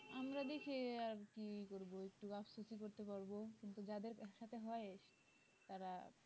আমরা দেশে আর কি করব একটু আসকুতি করতে পারবো কিন্তু যাদের একসাথে হয় তারা